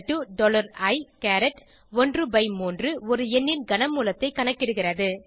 Cஇ13 ஒரு எண்ணின் கன மூலத்தை கணக்கிடுகிறது